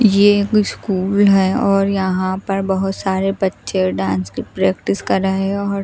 ये एक स्कूल है और यहां पर बहोत सारे बच्चे डांस की प्रैक्टिस कर रहे और--